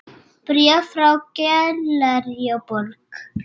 Bréf frá Gallerí Borg.